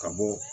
Ka bɔ